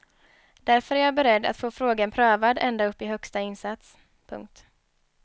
Därför är jag beredd att få frågan prövad ända upp i högsta instans. punkt